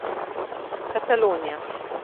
Katalonija.